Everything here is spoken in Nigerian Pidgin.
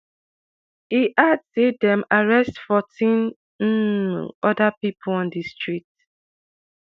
e add say dem arrest 14 um oda pipo on di street.